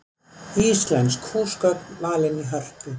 Íslensk húsgögn valin í Hörpu